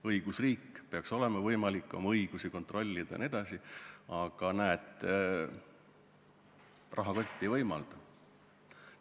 Õigusriik – peaks olema võimalik oma õigusi kontrollida jne –, aga näed, rahakott ei võimalda.